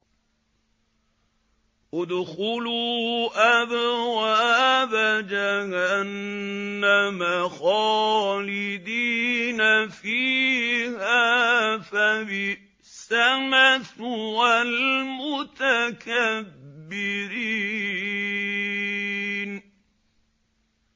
ادْخُلُوا أَبْوَابَ جَهَنَّمَ خَالِدِينَ فِيهَا ۖ فَبِئْسَ مَثْوَى الْمُتَكَبِّرِينَ